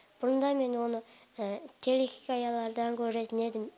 бұрында мен оны телехикаялардан көретін едім